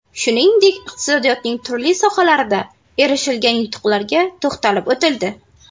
Shuningdek, iqtisodiyotning turli sohalarida erishilgan yutuqlarga to‘xtalib o‘tildi.